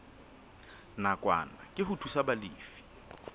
nakwana ke ho thusa balefi